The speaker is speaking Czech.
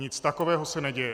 Nic takového se neděje.